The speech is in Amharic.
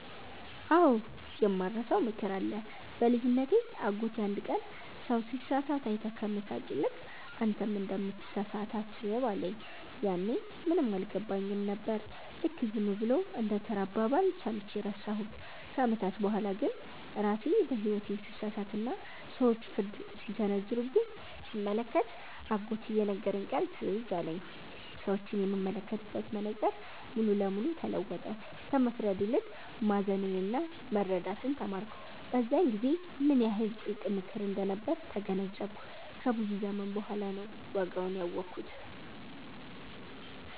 አዎ፣ የማልረሳው ምክር አለ። በልጅነቴ አጎቴ አንድ ቀን “ሰው ሲሳሳት አይተህ ከመሳለቅ ይልቅ፣ አንተም እንደምትሳሳት አስብ” አለኝ። ያኔ ምንም አልገባኝም ነበር፤ ልክ ዝም ብሎ እንደ ተራ አባባል ሰምቼ ረሳሁት። ከዓመታት በኋላ ግን ራሴ በሕይወቴ ስሳሳትና ሰዎች ፍርድ ሲሰነዘሩብኝ ስመለከት፣ አጎቴ የነገረኝ ቃል ትዝ አለኝ። ሰዎችን የምመለከትበት መነጽር ሙሉ ለሙሉ ተለወጠ፤ ከመፍረድ ይልቅ ማዘንና መረዳትን ተማርኩ። በዚያን ጊዜ ምን ያህል ጥልቅ ምክር እንደነበር ተገነዘብኩ፤ ከብዙ ዘመን በኋላ ነው ዋጋውን ያወኩት።